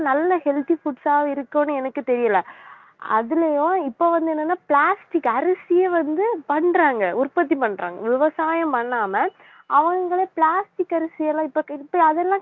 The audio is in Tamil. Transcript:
நல்ல healthy foods ஆ இருக்கும்னு எனக்கு தெரியலே அதுலயும் இப்ப வந்து என்னன்னா plastic அரிசியை வந்து பண்றாங்க உற்பத்தி பண்றாங்க விவசாயம் பண்ணாம அவங்களே plastic அரிசி எல்லாம் இப்ப அதெல்லாம்